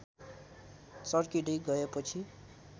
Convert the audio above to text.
चर्किदै गएपछि